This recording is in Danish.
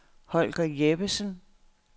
Holger Jeppesen